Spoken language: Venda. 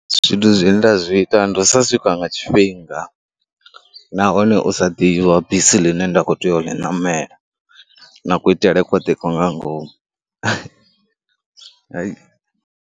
Zwithu zwine nda zwi ita ndi u sa swika nga tshifhinga nahone u sa ḓivha bisi ḽine nda khou tea u ḽi namela na kuitele kwoṱhe nga ngomu.